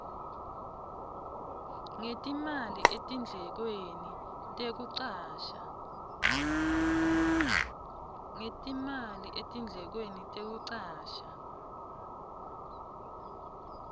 ngetimali etindlekweni tekucasha